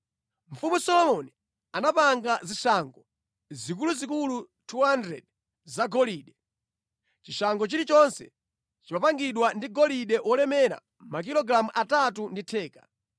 Mfumu Solomoni anapanga zishango zikuluzikulu 200 zagolide. Chishango chilichonse chimapangidwa ndi golide wolemera makilogalamu atatu ndi theka.